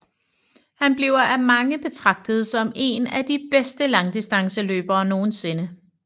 Han bliver af mange betragtet som en af de bedste langdistanceløbere nogensinde